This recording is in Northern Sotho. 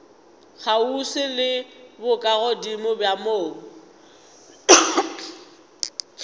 kgauswi le bokagodimo bja mobu